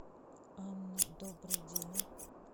анна добрый день